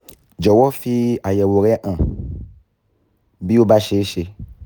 jọ̀wọ́ fi àyẹ̀wò rẹ hàn bí ó bá ṣeé ṣe